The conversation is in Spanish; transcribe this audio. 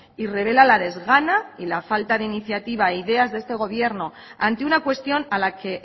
y revela la desgana y la falta de iniciativa e ideas de este gobierno ante una cuestión a la que